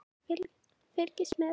Fylgist með!